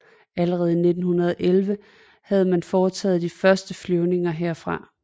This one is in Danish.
Allerede i 1911 havde man foretaget de første flyvninger herfra